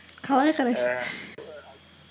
қалай қарайсың